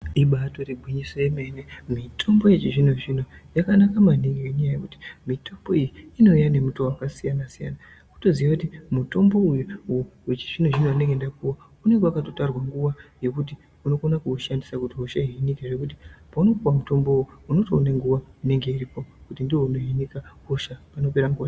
Ibatori gwinyiso yemene mitombo yechizvino zvino yakanaka maningi ngenyaya yekuti mitombo iyi inouya nemitowo wakasiyana siyana kutoziye kuti mutombo uwu wechizvino zvino wandinenge ndapuwa unenge wakatotarwa nguwa yokuti unokona kuushandisa kuti hosha ihinike ngokuti paunoupuwa mutombo uwu unotoona nguwa inenge iripo kuti ndounohinika hosha panopera nguwa.